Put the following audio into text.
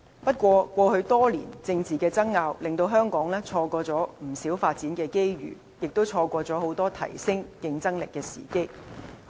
不過，過去多年的政治爭拗，令香港錯過不少發展機遇，也錯過很多提升競爭力的時機。